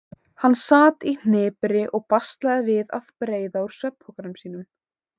Hann sat í hnipri og baslaði við að breiða úr svefnpokanum sínum.